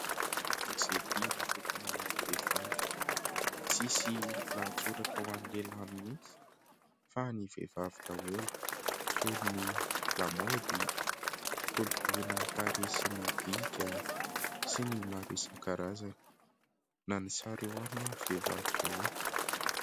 Gazety natokana ho an'ny vehivavy tsisy lahatsoratra ho any lehilahy mihitsy fa ny vehivavy daholo toy ny lamaody, kolokoloina ny tarehy sy ny bika sy ny maro isankarazany na ny sary eo aminy ary vehivavy daholo.